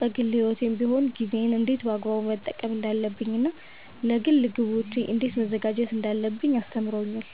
በግል ሕይወቴም ቢሆን ጊዜዬን እንዴት በአግባቡ መጠቀም እንዳለብኝ እና ለግል ግቦቼ እንዴት መዘጋጀት እንዳለብኝ አስተምሮኛል።